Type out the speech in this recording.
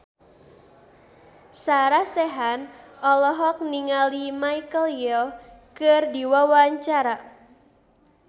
Sarah Sechan olohok ningali Michelle Yeoh keur diwawancara